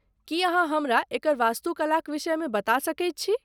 की अहाँ हमरा एकर वास्तुकलाक विषयमे बता सकैत छी?